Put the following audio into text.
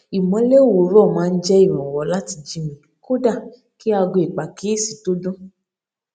ìmólè òwúrò máa ń jé ìrànwọ láti jí mi kódà kí aago ìpàkíyèsí tó dún